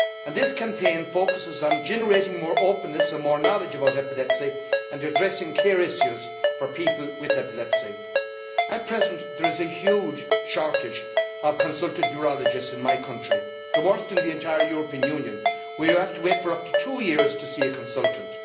This campaign focuses on generating more openness and more knowledge about epilepsy and addressing care issues for people with epilepsy. At present, there is a huge shortage of consultant neurologists in my country the worst in the entire European Union where you have to wait for up to two years to see a consultant.